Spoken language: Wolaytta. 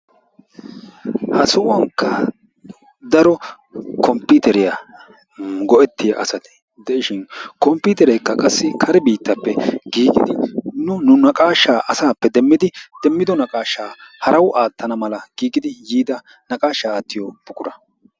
ha sohuwankka daro komppiteriya go'etiyaa asati de'ishin kompiterekka qassi kare biittappe giigidi nu nu naqashsha asappe demmidi demmido naqashsha haraw aatana mala giigidi yiida naqashsha aattiyo buqura.